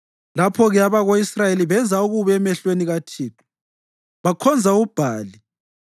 Lapho-ke abako-Israyeli benza okubi emehlweni kaThixo, bakhonza uBhali.